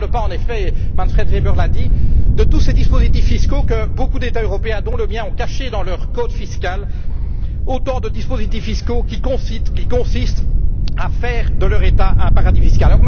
Je ne parle pas en effet, Manfred Weber l'a dit de tous ces dispositifs fiscaux que beaucoup d'États européens, dont le mien, ont caché dans leur code fiscal, autant de dispositifs fiscaux qui consistent à faire de leur État un paradis fiscal.